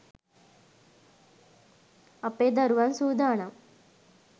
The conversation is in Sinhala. අපේ දරුවන් සූදානම්.